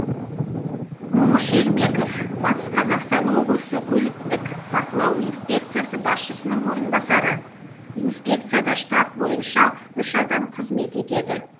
момыш ермеков батыс қазақстан облысы көліктік бақылау инспекциясы басшысының орынбасары инспекцияда штат саны бойынша үш адам қызмет етеді